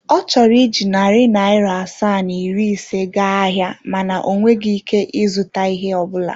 Ọ chọrọ iji narị naira asaa na iri ise gaa ahịa mana o nweghị ike ịzụta ihe ọ bụla.